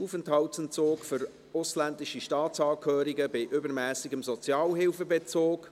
«Aufenthaltsentzug für ausländische Staatsangehörige bei übermässigem Sozialhilfebezug».